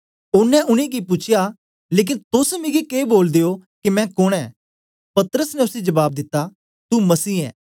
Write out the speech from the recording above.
ओनें उनेंगी पूछया लेकन तोस मिगी के बोलदे ओ के मैं कोन ऐ पतरस ने उसी जबाब दिता तू मसीह ऐ